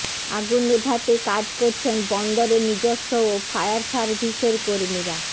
আগুন নেভাতে কাজ করছেন বন্দরের নিজস্ব ও ফায়ার সার্ভিসের কর্মীরা